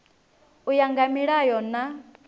u ya nga milayo na